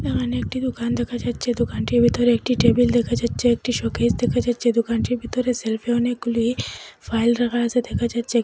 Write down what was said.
এখানে একটি দোকান দেখা যাচ্ছে দোকানটির ভিতরে একটি টেবিল দেখা যাচ্ছে একটি শোকেজ দেখা যাচ্ছে দোকানটির ভিতরে সেলফে অনেকগুলি ফাইল রাখা আছে দেখা যাচ্ছে।